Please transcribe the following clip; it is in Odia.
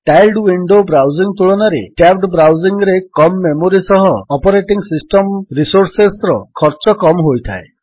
ଟାଇଲ୍ଡ ୱିଣ୍ଡୋ ବ୍ରାଉଜିଙ୍ଗ୍ ତୁଳନାରେ ଟ୍ୟାବ୍ଡ ବ୍ରାଉଜିଙ୍ଗ୍ ରେ କମ୍ ମେମୋରୀ ସହ ଅପରେଟିଙ୍ଗ୍ ସିଷ୍ଟମ୍ ରିସୋର୍ସେସ୍ ର ଖର୍ଚ୍ଚ କମ୍ ହୋଇଥାଏ